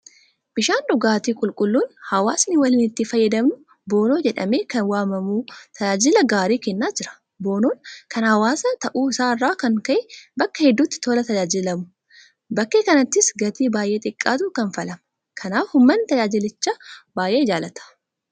Bishaan dhugaatii qulqulluun hawaasni waliin itti fayyadamu Boonoo jedhamee kan waamamu tajaajila gaarii kennaa jira. Boonoon kan hawaasaa ta'uu isaa irraa kan ka'e bakka hedduutti tola tajaajilamu. Bakkee kaanittis gatii baay'ee xiqqaatu kanfalama. kanaaf uummanni tajaajilicha baay'ee jaalata.